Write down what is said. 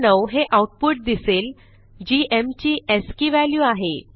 109 हे आऊटपुट दिसेल G M ची अस्की व्हॅल्यू आहे